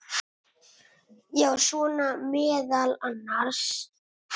Já, svona meðal annars.